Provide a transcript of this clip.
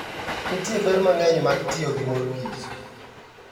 Nitie ber mang'eny mag tiyo gi mor kich.